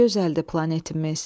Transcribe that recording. nə gözəldir planetimiz.